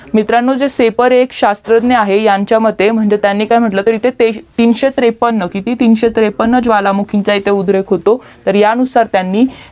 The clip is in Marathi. मित्रांनो सेफोर एक श्यास्त्रज्ञ आहे त्यांच्या मते म्हंटलं तर तीनशे त्रेपन्न किती तीनशे त्रेपन्न ज्वालामुखींचा इथे उद्रेक होतो तर ह्या नुसार त्यांनी